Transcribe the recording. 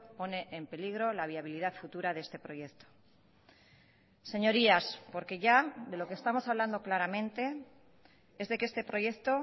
pone en peligro la viabilidad futura de este proyecto señorías porque ya de lo que estamos hablando claramente es de que este proyecto